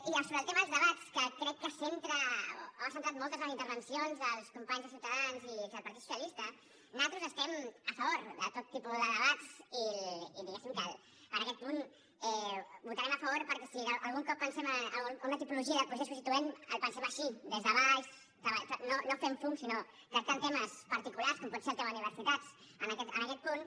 i sobre el tema dels debats que crec que centra o ha centrat moltes de les intervencions dels companys de ciutadans i del partit socialista nosaltres estem a favor de tot tipus de debats i diguéssim que en aquest punt votarem a favor perquè si algun cop pensem en una tipologia de procés constituent el pensem així des de baix no fent fum sinó tractant temes particulars com pot ser el tema universitats en aquest punt